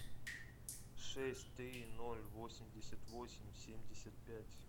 шесть три ноль восемьдесят восемь семьдесят пять